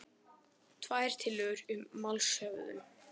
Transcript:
Tvær tillögur um málshöfðun